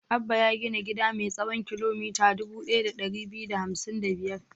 Abba ya gina gida mai tsawon kilomita dubu ɗaya da ɗari biyu da hamsin da biyar.